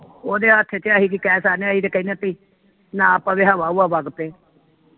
ਉਹਦੇ ਹੱਥ ਵਿਚ ਅਹੀ ਕੀ ਕਹਿ ਸਕਦੇ ਅਸੀ ਤੇ ਕਹਿਨੇ ਬਈ ਨਾ ਪਵੇ ਹਵਾ ਹੁਵਾ ਵਗ ਪਏ।